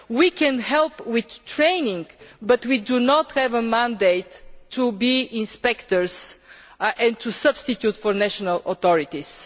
area. We can help with training, but we do not have a mandate to be inspectors and to substitute for national authorities.